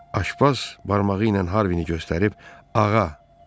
Aşpaz barmağı ilə Harvini göstərib: "Ağa".